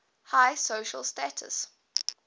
high social status